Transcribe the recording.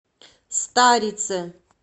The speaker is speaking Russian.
старице